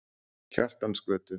Kjartansgötu